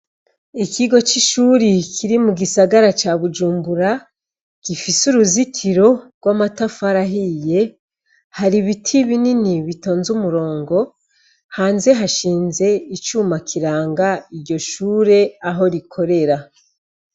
ikigo c'ishuri kiri mugisagara ca bujumbura gifise uruzitiro rw'amatafari ahiye har'ibiti binini bitonze umurongo. Hanze hashinze icuma kiranga iryoshure aho rikorera.